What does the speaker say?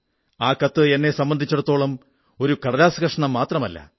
ആ കത്ത് എന്നെ സംബന്ധിച്ചിടത്തോളം ഒരു കടലാസു കഷണം മാത്രമല്ല